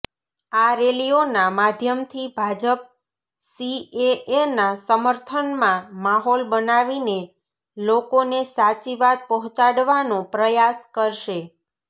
આ રેલીઓના માધ્યમથી ભાજપ સીએએના સમર્થનમાં માહોલ બનાવીને લોકોને સાચી વાત પહોંચાડવાનો પ્રયાસ કરશે